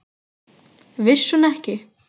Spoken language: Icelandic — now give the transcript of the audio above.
Vissi hún ekki!